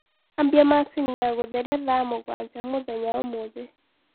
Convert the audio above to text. ambĩa machĩnĩ ya gutherĩa thaa mũgwanja mũthenyaũmũthĩ